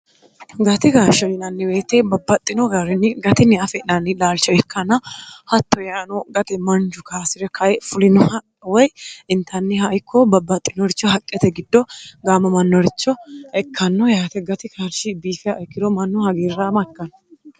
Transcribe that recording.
gati kaashsho inanniweyite babbaxxino gaarinni gatinni afe'nanni laalcho ikkanna hatto yaano gate mancu kaasi're kae fulinoha woy intanniha ikko babbaxxinoricho haqqete giddo gaamo mannoricho ekkanno yayate gati kaarshi biifia ikkiro mannu hagiirraama ikkanno